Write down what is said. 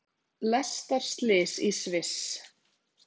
Lestarslys í Sviss